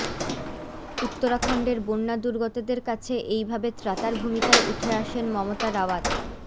উত্তরাখণ্ডের বন্যা দুর্গতদের কাছে এইভাবে ত্রাতার ভূমিকায় উঠে আসেন মমতা রাওয়াত